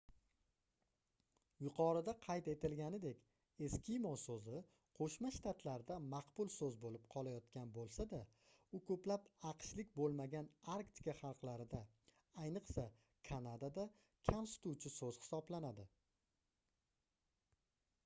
yuqorida qayd etilganidek eskimo soʻzi qoʻshma shtatlarda maqbul soʻz boʻlib qolayotgan boʻlsa-da u koʻplab aqshlik boʻlmagan arktika xalqlarida ayniqsa kanadada kamsituvchi soʻz hisoblanadi